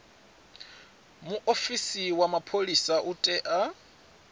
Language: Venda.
muofisi wa mapholisa u tea